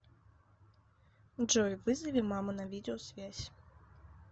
джой вызови маму на видеосвязь